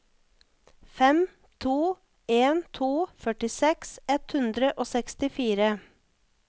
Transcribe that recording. fem to en to førtiseks ett hundre og sekstifire